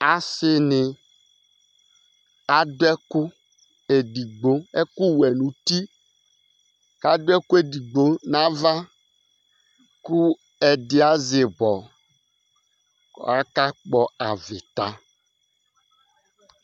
Asi ni adu ɛku ɛdigbo, ɛku wɛ nʋ ʋti kʋ adu ɛku ɛdigbo nʋ ava kʋ ɛdí azɛ ibɔ kʋ akakpɔ avita